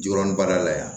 Joɔrɔ baara la yan